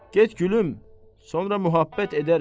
Get gülüm, sonra möhabbət edəriz.